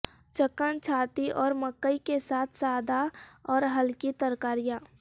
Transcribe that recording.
chicken چھاتی اور مکئی کے ساتھ سادہ اور ہلکی ترکاریاں